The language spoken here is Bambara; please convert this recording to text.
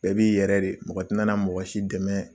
Bɛɛ b'i yɛrɛ de ye mɔgɔ t'i nana mɔgɔ si dɛmɛ